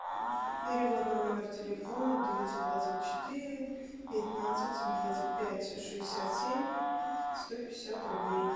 перевод на номер телефона девятьсот двадцать четыре пятнадцать двадцать пять шестьдесят семь сто пятьдесят рублей